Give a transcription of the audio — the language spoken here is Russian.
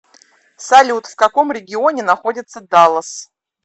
салют в каком регионе находится даллас